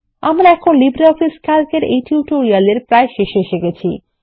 এইখানে আমরা LibreOffice Calc এই কথ্য টিউটোরিয়াল শেষে এসেছি